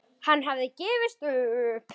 Hann hafði gefist upp.